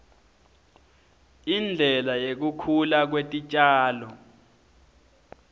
indlela yekukhula kwetitjalo